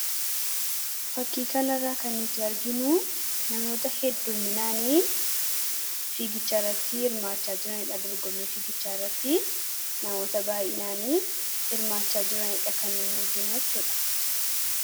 fakkiikanirraa kannutti arginuu namoota heddumminaanii fiigichaairrattii irmaachaa jiraniidha dorgome fiigichaarratti namoota baayinaanii irmaachaa jiraniidha kannuu arginuachuudha